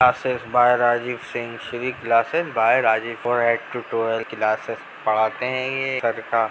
Classes by Rajeev Singh Shri classes by Rajeev for eight to twelve classes पढाते हैं ये सब का।